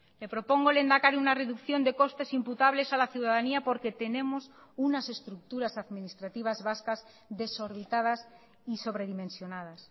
le propongo lehendakari una reducción de costes imputables a la ciudadanía porque tenemos unas estructuras administrativas vascas desorbitadas y sobredimensionadas